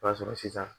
O b'a sɔrɔ sisan